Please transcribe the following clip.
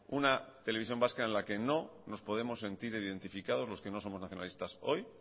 una televisión vasca en la que no nos podemos sentir identificados los que no somos nacionalista hoy